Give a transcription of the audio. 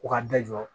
Ko ka da jɔ